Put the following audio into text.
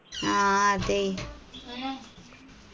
ആ അതേയ്